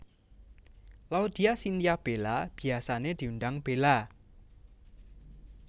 Laudya Chintya Bella biyasané diundang Bella